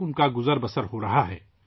ان کی روزی روٹی کا خیال رکھا جا رہا ہے